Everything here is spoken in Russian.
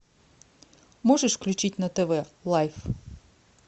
можешь включить на тв лайф